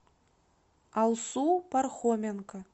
алсу пархоменко